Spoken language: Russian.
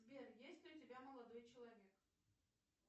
сбер есть ли у тебя молодой человек